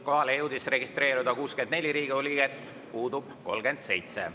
Kohalolijaks jõudis registreeruda 64 Riigikogu liiget, puudub 37.